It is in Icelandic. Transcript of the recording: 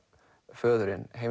föðurinn